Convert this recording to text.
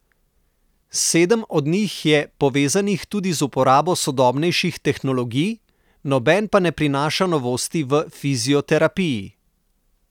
Sedem od njih je povezanih tudi z uporabo sodobnejših tehnologij, noben pa ne prinaša novosti v fizioterapiji.